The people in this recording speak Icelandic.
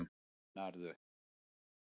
Hvað meinaru